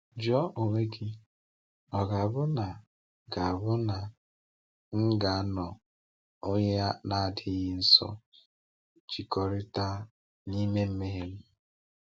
“Jụọ onwe gị, ‘Ọ ga-abụ na ga-abụ na m ga-anọ onye na-adịghị nsọ jikọtara n’ime mmehie m?’”